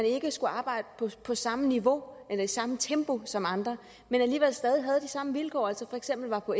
ikke skulle arbejde på samme niveau eller i samme tempo som andre men alligevel stadig væk havde de samme vilkår at de for eksempel var på